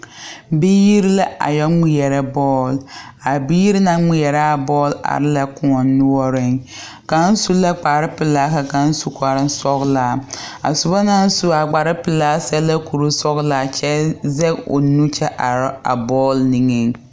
Biiri la a yɔ ŋmeɛrɛ bɔɔl a biiri naŋ ŋmeɛrɛ a bɔɔl are la koɔ noɔreŋ kaŋ su la kparepelaa ka kaŋ su kparesɔglaa a soba naŋ su a kparepelaa seɛ la kurisɔglaa kyɛ zɛge o nu kyɛ are a bɔɔl nigeŋ.